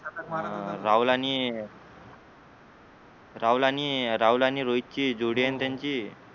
अं राहुल आणि राहुल आणि राहुल आणि रोहितची जोडी आहे ना त्यांची